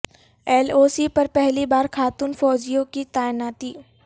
L O C پر پہلی بار خاتون فوجیوں کی تعیناتی